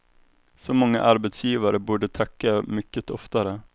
Så många arbetsgivare borde tacka mycket oftare.